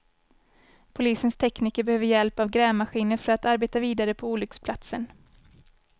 Polisens tekniker behöver hjälp av grävmaskiner för att arbeta vidare på olycksplatsen.